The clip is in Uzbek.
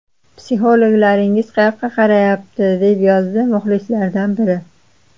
Psixologlaringiz qayoqqa qarayapti?” deb yozdi muxlislardan biri.